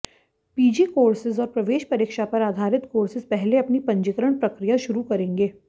PG courses और प्रवेश परीक्षा पर आधारित कोर्सेज पहले अपनी पंजीकरण प्रक्रिया शुरू करेंगे